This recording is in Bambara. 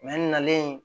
n nalen